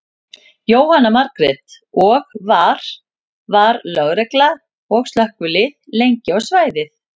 Jóhanna Margrét: Og var, var lögregla og slökkvilið lengi á svæðið?